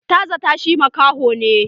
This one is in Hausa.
Ta zatta shi makaho ne